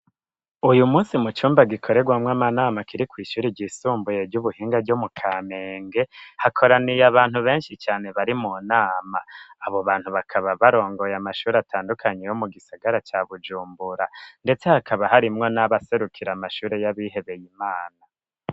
Uyu munsi mu cumba gikorerwamwo amanama kiri kw'ishuri ryisumbuye ry'ubuhinga ryo mu kamenge hakoraniye abantu beshi cane bari mu nama abo bantu bakaba barongoye amashuri atandukanye yo mu gisagara ca bujumbura ndetse hakaba harimwo n'abaserukira amashuri y'abihebeye imana